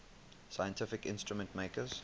scientific instrument makers